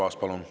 Aitäh!